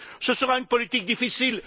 Ce sera une politique difficile.